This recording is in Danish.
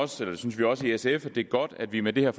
synes vi også i sf at det er godt at vi med det her